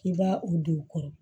K'i b'a o don o kɔrɔ